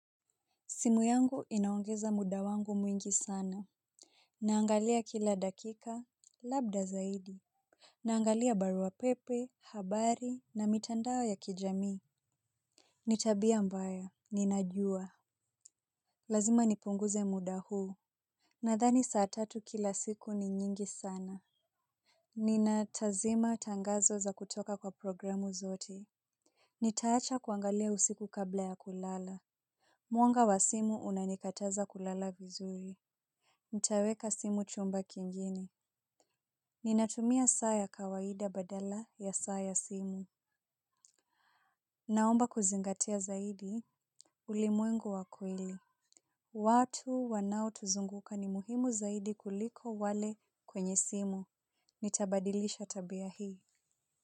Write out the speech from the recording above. Simu yangu inaongeza muda wangu mwingi sana. Naangalia kila dakika, labda zaidi. Naangalia barua pepe, habari na mitandao ya kijamii. Ni tabia mbaya, ninajua lazima nipunguze muda huu. Nadhani saa tatu kila siku ni nyingi sana. Ninatazima tangazo za kutoka kwa programu zote. Nitaacha kuangalia usiku kabla ya kulala. Mwanga wa simu unanikataza kulala vizuri. Nitaweka simu chumba kingine. Ninatumia saa ya kawaida badala ya saa ya simu. Naomba kuzingatia zaidi. Ulimwengu wa kweli. Watu wanao tuzunguka ni muhimu zaidi kuliko wale kwenye simu nitabadilisha tabia hii.